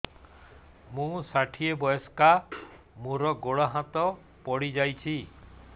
ମୁଁ ଷାଠିଏ ବୟସ୍କା ମୋର ଗୋଡ ହାତ ପଡିଯାଇଛି